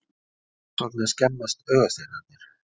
Hvers vegna skemmast augasteinarnir?